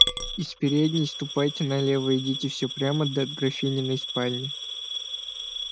из передней ступайте налево идите всё прямо до графининой спальни